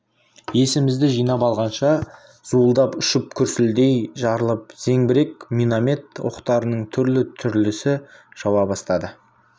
есімізді жинап алғанша зуылдап ұшып күрсілдей жарылып зеңбірек миномет оқтарының түрлі-түрлісі жауа бастады